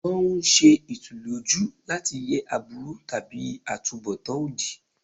Wọ́n ń ṣe ìtùlójú láti yẹ aburú tàbí àtunbọ̀tán òdì.